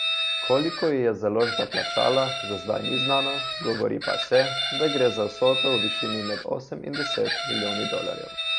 Koliko ji je založba plačala, za zdaj ni znano, govori pa se, da gre za vsoto v višini med osem in deset milijoni dolarjev.